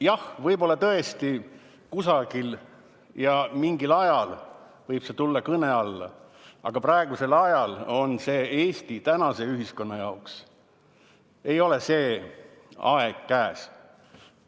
Jah, võib-olla tõesti kusagil ja mingil ajal võib see kõne alla tulla, aga Eesti tänase ühiskonna jaoks ei ole see aeg praegu käes.